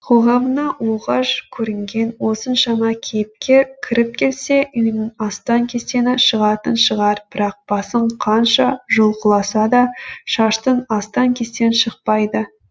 қоғамына оғаш көрінген осыншама кейіпкер кіріп келсе үйінің астан кестені шығатын шығар бірақ басын қанша жұлқыласа да шаштың астан кестен шықпайды